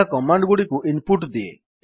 ଏହା କମାଣ୍ଡ୍ ଗୁଡିକୁ input ଦିଏ